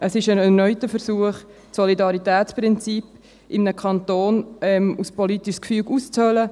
Es ist ein erneuter Versuch, das Solidaritätsprinzip in einem Kanton als politisches Gefüge auszuhöhlen.